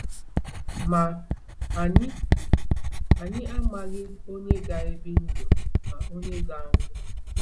Ma, anyị anyị amaghị onye ga-ebi ndụ ma onye ga-anwụ.